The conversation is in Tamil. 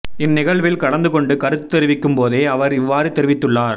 இந்த நிகழ்வில் கலந்துகொண்டு கருத்து தெரிவிக்கும்போதே அவர் இவ்வாறு தெரிவித்துள்ளார்